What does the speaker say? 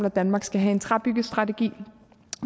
at danmark skal have en træbyggestrategi